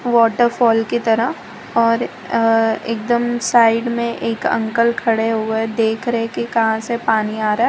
Waterfall की तरह और अ एकदम साइड में एक अंकल खड़े हुए देख रहे कि कहां से पानी आ रहा है।